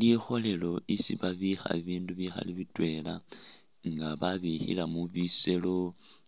Likholelo lyesi babikha bibindu bikhaali bitweela nga babikhilemo biseelo